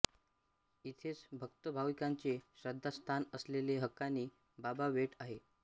इथेच भक्त भाविकांचे श्रद्धास्थान असलेले हकानी बाबा बेट आहे